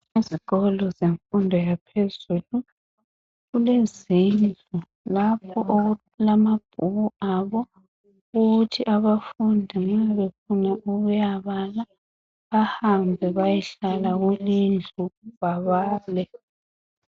Ezikolo zemfundo yaphezulu kulezindlu lapho okulamabhuku abo wokuthi abafundi nxa befuna ukuya bala bahambe bayahlala kuleyondlu babale.